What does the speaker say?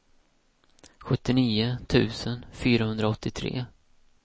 sjuttionio tusen fyrahundraåttiotre